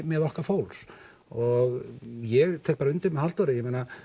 okkar fólks og ég tek undir með Halldóri